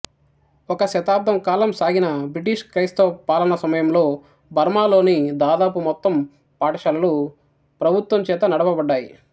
ఒక శతాబ్దం కాలం సాగిన బ్రిటిష్ క్రైస్తవ పాలన సమయంలో బర్మాలోని దాదాపు మొత్తం పాఠశాలలు ప్రభుత్వం చేత నడపబడ్డాయి